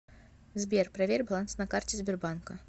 сбер проверь баланс на карте сбербанка